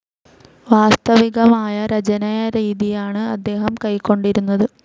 വാസ്തവികമായ രചനാരീതിയാണ് അദ്ദേഹം കൈക്കൊണ്ടിരുന്നത്.